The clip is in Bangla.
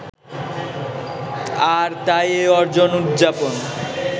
আর তাই এই অর্জন উদযাপন